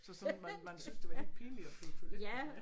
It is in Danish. Så sådan man man syntes det var helt pinligt at købe toiletpapir